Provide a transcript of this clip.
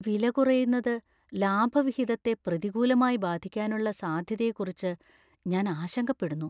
വില കുറയുന്നത് ലാഭവിഹിതത്തെ പ്രതികൂലമായി ബാധിക്കാനുള്ള സാധ്യതയെക്കുറിച്ച് ഞാൻ ആശങ്കപ്പെടുന്നു.